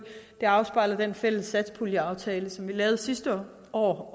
afspejler den fælles satspuljeaftale som vi lavede sidste år